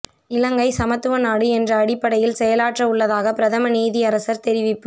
இலங்கை சமத்துவ நாடு என்ற அடிப்படையில் செயலாற்ற உள்ளதாக பிரதம நீதியரசர் தெரிவிப்பு